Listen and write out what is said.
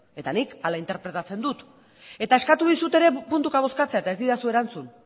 eta nik hala interpretatzen dut eta eskatu dizut ere puntuka bozkatzea eta ez didazu erantzun